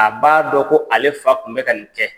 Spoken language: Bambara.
A b'a dɔn ko ale fa tun bɛ ka nin kɛ.